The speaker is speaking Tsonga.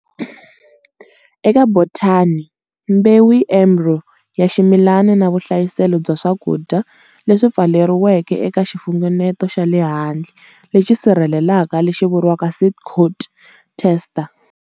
Eka botany, mbewu i embryo ya ximilani na vuhlayiselo bya swakudya leswi pfaleriweke eka xifunengeto xa le handle lexi sirhelelaka lexi vuriwaka seed coat testa.